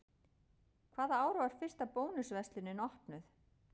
Hvaða ár var fyrsta Bónus verslunin opnuð?